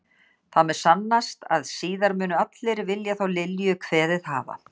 Það mun sannast að síðar munu allir vilja þá Lilju kveðið hafa.